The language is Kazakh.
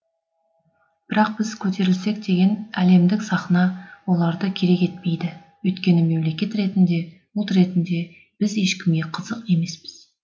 бірақ біз көтерілсек деген әлемдік сахна оларды керек етпейді өйткені мемлекет ретінде ұлт ретінде біз ешкімге қызық емеспіз